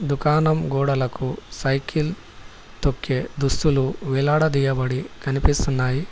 దుకాణం గోడలకు సైకిల్ తొక్కే దుస్తులు వేలాడదీయబడి కనిపిస్తున్నాయి.